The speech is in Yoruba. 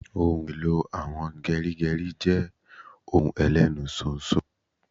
Ohun èlò àwọn geri geri je ohun Elenu ṣóńṣó